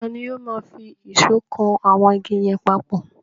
Tani ó máa fi ìṣọ́ kan àwọn igi yẹn papọ̀?